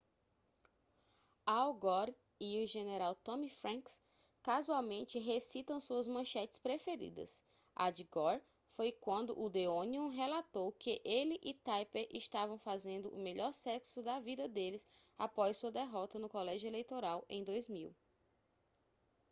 al gore e o general tommy franks casualmente recitam suas manchetes preferidas a de gore foi quando o the onion relatou que ele e tipper estavam fazendo o melhor sexo da vida deles após sua derrota no colégio eleitoral em 2000